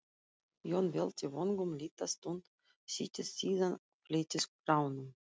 Jón velti vöngum litla stund, settist síðan og fletti skránum.